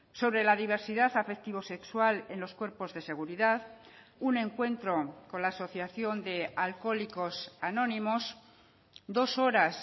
sobre la diversidad afectivo sexual en los cuerpos de seguridad un encuentro con la asociación de alcohólicos anónimos dos horas